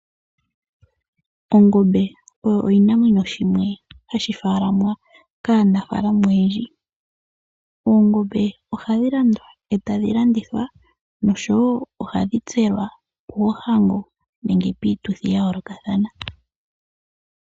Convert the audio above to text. Ongombe oyo oshinamwenyo shimwe hashi faalamwa kaanafaalama oyendji. Oongombe ohadhi landwa e tadhi landithwa nosho wo ohadhi tselwa moohango nenge piituthi ya yoolokathana.